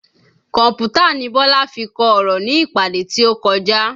Kọ̀mpútà ni Bọlá fi kọ ọ̀rọ̀ ní ìpàdé tí ó kọjá